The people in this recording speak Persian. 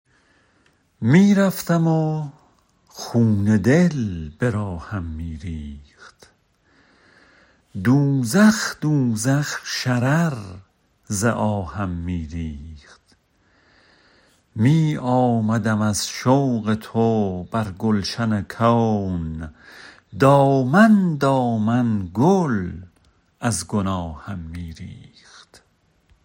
می رفتم و خون دل به راهم می ریخت دوزخ دوزخ شرر ز آهم می ریخت می آمدم از شوق تو بر گلشن کون دامن دامن گل از گناهم می ریخت